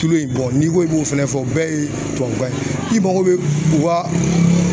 Kilo in n'i ko i b'o fɛnɛ fɔ bɛɛ ye tubabukan ye i mako bɛ u ka